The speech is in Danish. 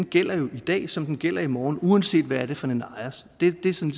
gælder jo i dag som den gælder i morgen uanset hvad det er for en ejer det er ligesom